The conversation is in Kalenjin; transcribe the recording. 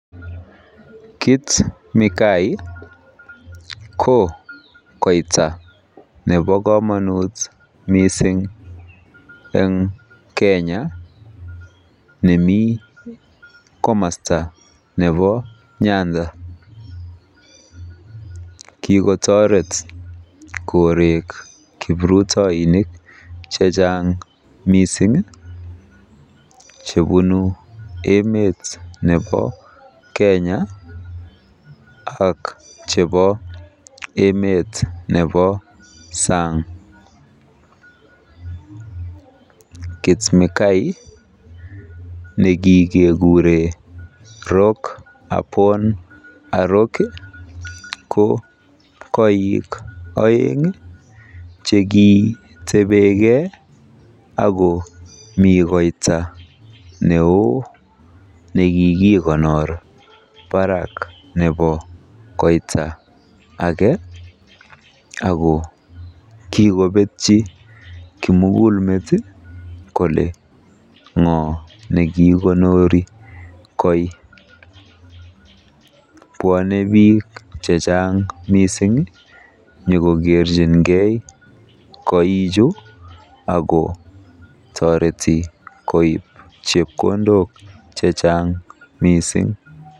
Kit Mikayi ko koita nebo komonut mising en Kenya nemi komosta nebo Nyanza KIgotoret korek kiprutoinik che chang mising chebunu emet nebo Kenya ak chebo emet nebo sang. Kit Mikayi ne kigekoron rock upon a rock ko koik oeng chekitebenge ak komi koita neo ne kigikonor barak nebo koita age ak ko kigobetyi kimugulmet kole ng'o nekiigonori koi. Bwone biik che chang misng inyokokerjinge koichu ago toreti koib chepkondok che chang mising.